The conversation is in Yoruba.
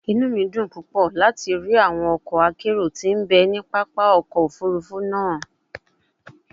Inu mi dun pupọ lati ri awọn ọkọ akero ti n be ni papa ọkọ ofurufu naa